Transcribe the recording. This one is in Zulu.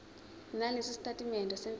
nalesi sitatimende semfihlo